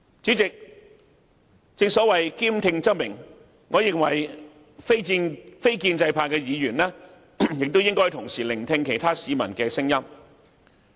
主席，正所謂兼聽則明，我認為非建制派議員亦應同時聆聽其他市民的聲音。